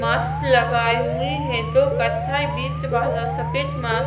mask लगाए हुए है जो कथइ सफ़ेद मास्क --